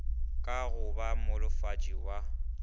ka go ba monolofatši wa